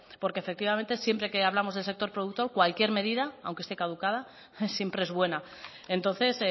porque efectivamente siempre que hablamos del sector productor cualquier medida aunque esté caducada siempre es buena entonces